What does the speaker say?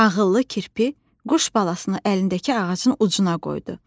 Ağıllı kirpi quş balasını əlindəki ağacın ucuna qoydu.